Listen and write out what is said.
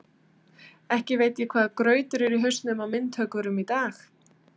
Ekki veit ég hvaða grautur er í hausnum á myndhöggvurum í dag.